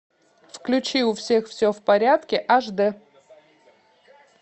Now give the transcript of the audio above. включи у всех все в порядке аш д